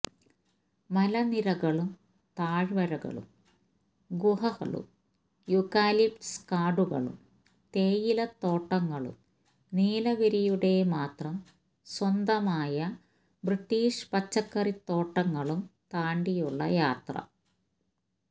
മലനിരകളും താഴ്വാരകളും ഗുഹകളും യൂക്കാലിപ്റ്റസ് കാടുകളും തേയിലത്തോട്ടങ്ങളും നീലഗിരിയുടെ മാത്രം സ്വന്തമായ ബ്രിട്ടീഷ് പച്ചക്കറിത്തോട്ടങ്ങളും താണ്ടിയുള്ള യാത്ര